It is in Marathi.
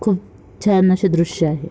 खूप छान असे दृश आहे.